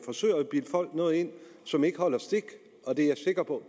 forsøger at bilde folk noget ind som ikke holder stik og det er jeg sikker på